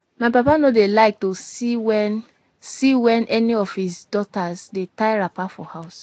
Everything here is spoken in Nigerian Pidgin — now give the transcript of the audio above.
My papa no dey like to see wen see wen any of his daughters dey tie wrapper for house